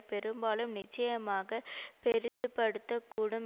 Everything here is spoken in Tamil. பெரும்பாலும் நிச்சயமாக பெரிதுபடுத்தக்கூடும்